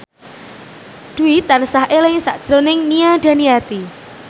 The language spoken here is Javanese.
Dwi tansah eling sakjroning Nia Daniati